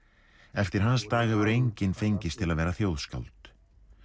eftir hans dag hefur enginn fengist til að vera þjóðskáld